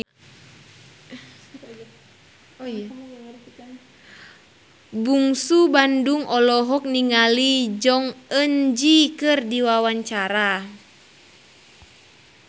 Bungsu Bandung olohok ningali Jong Eun Ji keur diwawancara